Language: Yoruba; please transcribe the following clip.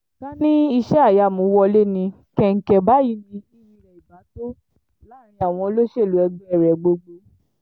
ká ní iṣẹ́-ìyamù wọlé ní kẹ̀ǹkẹ̀ báyìí ni iyì rẹ̀ ibà tó láàrin àwọn olóṣèlú ẹgbẹ́ rẹ̀ gbogbo